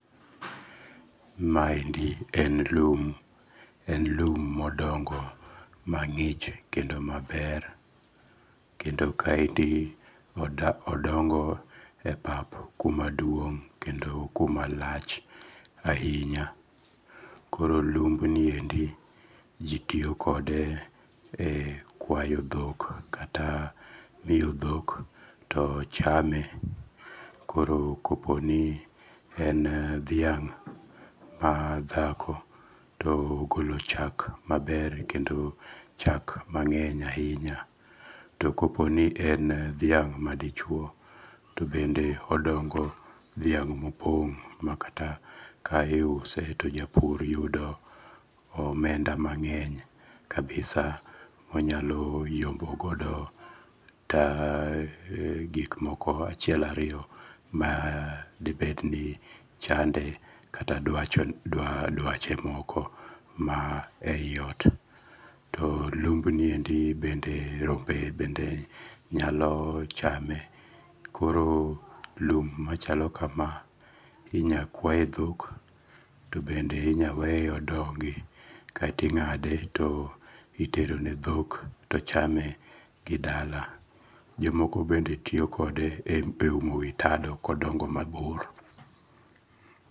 Ma endi en lum. En lum modongo mang'ich kendo maber. Kendo ka endi odongo e pap kuma duong' kendo kuma lach ahinya. Koro lumb ni endi ji tiyoo kode e kwayo dhok kata miyo dhok to chame. Koro kopo ni en dhiang' madhako to ogolo chak maber kendo chak mang'eny ahinya. To kopo ni en dhiang' madichuo to bende odongo dhiang' mopong' makata ka iuse to japur yudo omenda mang'eny kabisa monyalo yombo godo gik moko achiel ariyo ma dibed ni chande kata dwache moko ma e yi ot. To lumb ni endi bende rombe bende nyalo chame. Koro lum machalo kama inya kwaye dhok to bende inyaweye odongi kaito ing'ade to itero ne dhok to chame gidala. Jomoko bende tiyokode e umo witado kodongo mabor.